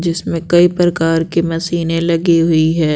जिसमें कई प्रकार की मशीनें लगी हुई हैं।